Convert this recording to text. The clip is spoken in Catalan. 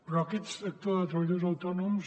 però aquest sector de treballadors autònoms